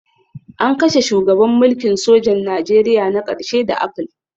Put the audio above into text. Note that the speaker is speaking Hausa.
An kashe shugaban mulkin sojan Najeriya na ƙarshe da apple